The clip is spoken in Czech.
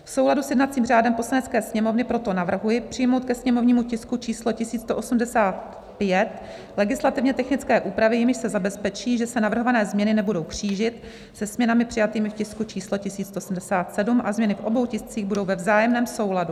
V souladu s jednacím řádem Poslanecké sněmovny proto navrhuji přijmout ke sněmovnímu tisku číslo 1185 legislativně technické úpravy, jimiž se zabezpečí, že se navrhované změny nebudou křížit se změnami přijatými v tisku číslo 1177 a změny v obou tiscích budou ve vzájemném souladu.